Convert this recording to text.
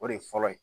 O de fɔlɔ ye